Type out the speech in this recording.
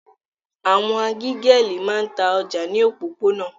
Àwọn agégẹ́lì máa ń ta ọjà ní òpópónà.